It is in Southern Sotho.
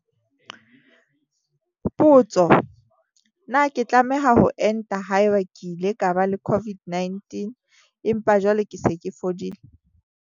Potso- Na ke tlameha ho enta haeba ke ile ka ba le COVID-19 empa jwale ke se ke fodile?